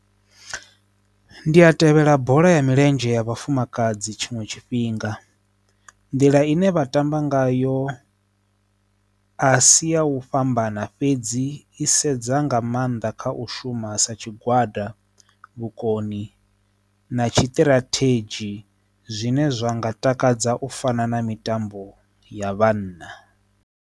Ndi a tevhela bola ya milenzhe ya vhafumakadzi tshiṅwe tshifhinga nḓila ine vha tamba ngayo a si ya u fhambana fhedzi i sa sedza nga maanḓa kha u shuma sa tshigwada vhukoni na tshitirathedzhi zwine zwa nga takadza u fana na mitambo ya vhanna.